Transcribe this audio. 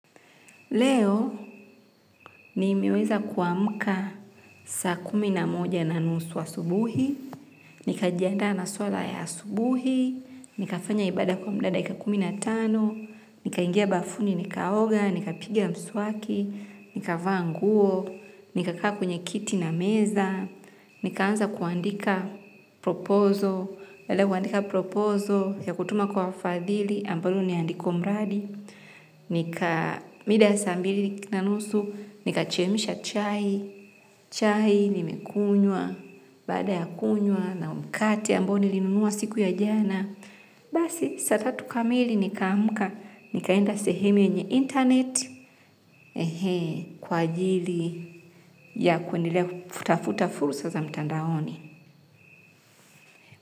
Leo nimeweza kuamka saa kumi na moja na nusu asubuhi, nika jianda na swala ya asubuhi, nika fanya ibada kwa mda wa dakika kumi na tano, nikaingia bafuni, nikaoga, nikapiga mswaki, nikavaa nguo, nika kaa kwenye kiti na meza, nikaanza kuandika proposal, baada ya kuandika proposal ya kutuma kwa fadhili ambalo niandiko mradi. Mida ya saa mbili na nusu, nikachemisha chai, chai nimekunywa, baada ya kunywa na mkate ambayo nilinunua siku ya jana. Basi, saa tatu kamili nikaamka, nikaenda sehemu yenye internet kwa ajili ya kuendelea kutafuta fursa za mtandaoni.